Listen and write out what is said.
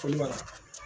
Foli bara